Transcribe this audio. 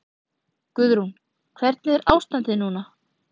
Guðrún: Hvernig er ástandið núna?